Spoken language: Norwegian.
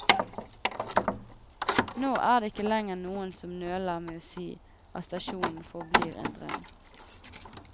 Nå er det ikke lenger noen som nøler med å si at stasjonen forblir en drøm.